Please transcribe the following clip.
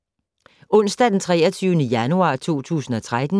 Onsdag d. 23. januar 2013